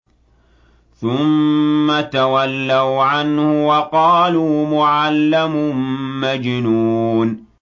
ثُمَّ تَوَلَّوْا عَنْهُ وَقَالُوا مُعَلَّمٌ مَّجْنُونٌ